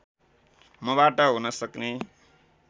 मबाट हुन सक्ने